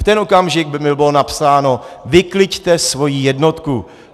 V ten okamžik by mi bylo napsáno: Vykliďte svoji jednotku.